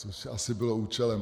Což asi bylo účelem.